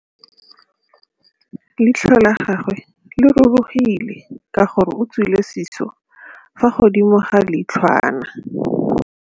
Leitlhô la gagwe le rurugile ka gore o tswile sisô fa godimo ga leitlhwana.